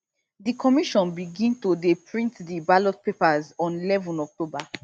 di commission begin to dey print di ballot papers on eleven october